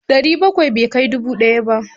Ɗari nakwai bai kai dubu ɗaya ba.